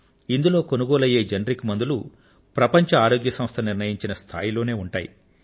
ఇందులో కొనుగోలు అయ్యే జనరిక్ మందులు ప్రపంచ ఆరోగ్య సంస్థ నిర్ణయించిన స్థాయిలోనే ఉంటాయి